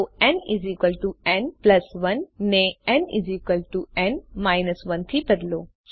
તો nn 1 ને nn 1 થી બદલો